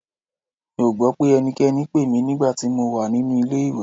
Mi ò gbọ́ pé ẹnikẹ́ni pè mí nígbà tí mo wà nínú ilé-ìwẹ̀